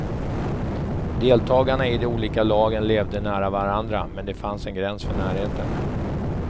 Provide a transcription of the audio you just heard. Deltagarna i de olika lagen levde nära varandra, men det fanns en gräns för närheten.